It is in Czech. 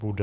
Bude?